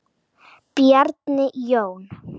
Bjarni Jón.